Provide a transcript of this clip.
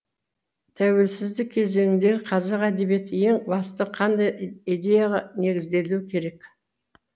тәуелсіздік кезеңіндегі қазақ әдебиеті ең басты қандай идеяға негізделуі керек